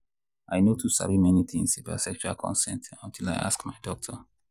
i no too sabi many things about sexual consent until i ask my doctor.